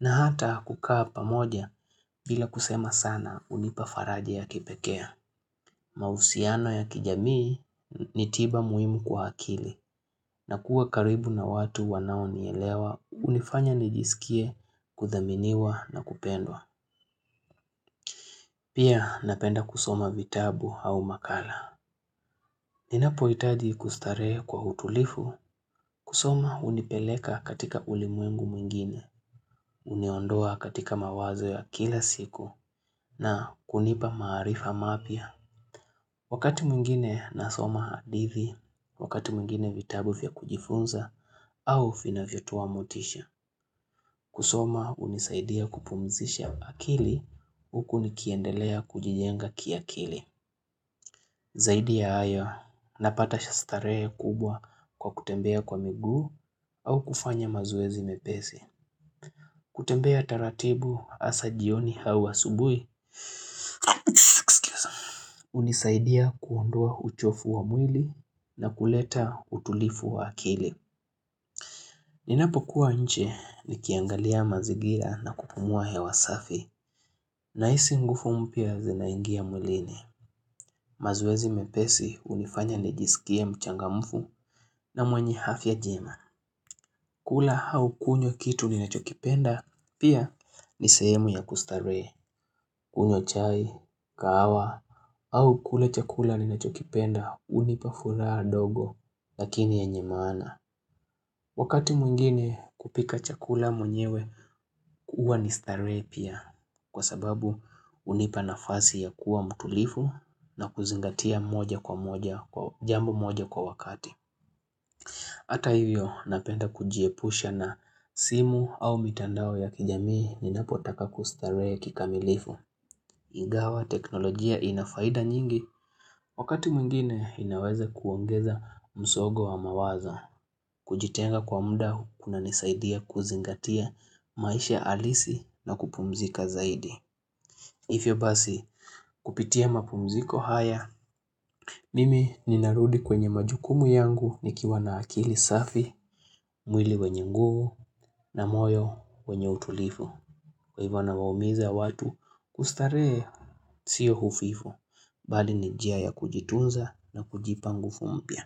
na hata kukaa pamoja bila kusema sana unipafaraji ya kipekea. Mahusiano ya kijamii ni tiba muhimu kwa akili na kuwa karibu na watu wanaonielewa unifanya nijisikie kuthaminiwa na kupendwa. Pia napenda kusoma vitabu au makala. Ninapohitaji kustarehe kwa utulifu, kusoma unipeleka katika ulimwengu mwingine, uniondoa katika mawazo ya kila siku na kunipa maarifa mapya. Wakati mwingine nasoma hadithi, wakati mwingine vitabu vya kujifunza au vinavyotoa motisha. Kusoma unisaidia kupumzisha akili, huku nikiendelea kujijenga kiakili. Zaidi ya hayo, napata shastarehe kubwa kwa kutembea kwa miguu au kufanya mazoezi mepesi. Kutembea taratibu asa jioni au asubui, unisaidia kuondoa uchofu wa mwili na kuleta utulifu wa akili. Ninapokuwa nje, nikiangalia mazigira na kupumua hewa safi, nahisi nguvu mpya zinaingia mwilini. Mazoezi mepesi unifanya nijiskie mchangamfu na mwenye afya njema. Kula au kunywa kitu ninachokipenda, pia ni sehemu ya kustarehe, kunywa chai, kahawa, au kula chakula ninachokipenda, unipa furaha ndogo, lakini yenye maana. Wakati mwingine kupika chakula mwenyewe, huwa nibstarehe pia, kwa sababu unipa nafasi ya kuwa mtutulifu na kuzingatia moja kwa moja, jambo moja kwa wakati. Hata hivyo napenda kujiepusha na simu au mitandao ya kijamii ninapotaka kustarehe kikamilifu. Ingawa teknolojia inafaida nyingi wakati mwingine inaweza kuongeza msongo wa mawazo. Kujitenga kwa mda kuna nisaidia kuzingatia maisha alisi na kupumzika zaidi. Hivyo basi kupitia mapumziko haya, mimi ninarudi kwenye majukumu yangu nikiwa na akili safi, mwili wenye nguvu na moyo wenye utulifu. Kwa hivyo nawaumiza watu kustarehe siyo ufifu, bali ni njia ya kujitunza na kujipa nguvu mpya.